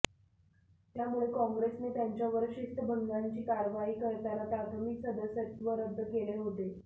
त्यामुळे काँग्रेसने त्यांच्यावर शिस्तभंगाची कारवाई करताना प्राथमिक सदस्यत्व रद्द केले होते